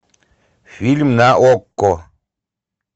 фильм на окко